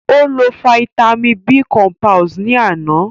Ó lo fáítámì B cọmpílẹ̀s ni àná